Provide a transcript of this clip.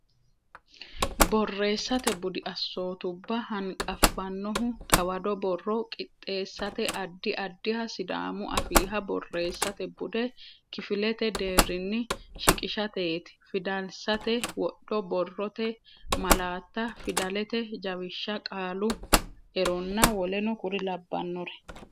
Borreessate budi assootubba hanqaffannohu xawado borro qixxeessate addi addiha Sidaamu Afiiha borreessate bude kifilete deerrinni shiqishateeti Fidalsate wodho Borrote malaatta Fidalete jawishsha Qaalu eronna w k l.